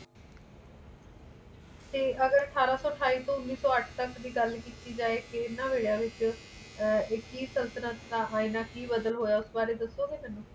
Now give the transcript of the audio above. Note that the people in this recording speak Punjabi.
ਤੇ ਅਠਾਰਾਂ ਸੋ ਅਠਾਈ ਤੇ ਉੰਨੀ ਸੋ ਅੱਠ ਤੱਕ ਦੀ ਗੱਲ ਕੀਤੇ ਜਾਇ ਕਿ ਏਨਾ ਵੇਲਿਆਂ ਵਿੱਚ ਇੱਕੀ ਸੰਤਤਲਣ ਦਾ ਹਾਇਨ ਕਿ ਬਦਲ ਹੋਇਆ ਉਸ ਬਾਰੇ ਦਸੋ ਗਏ ਮੈਨੂੰ